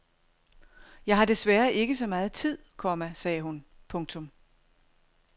Jeg har desværre ikke så meget tid, komma sagde hun. punktum